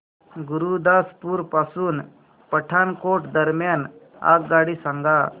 गुरुदासपुर पासून पठाणकोट दरम्यान आगगाडी सांगा